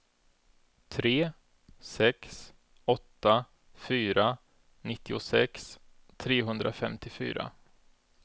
tre sex åtta fyra nittiosex trehundrafemtiofyra